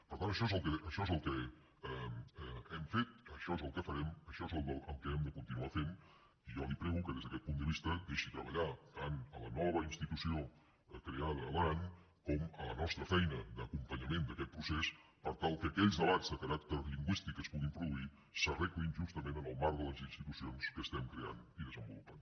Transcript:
per tant això és el que hem fet això és el que farem això és el que hem de continuar fent i jo li prego que des d’aquest punt de vista deixi treballar tant la nova institució creada a l’aran com la nostra feina d’acompanyament del procés per tal que aquells debats de caràcter lingüístic que es puguin produir s’arreglin justament en el marc de les institucions que estem creant i desenvolupant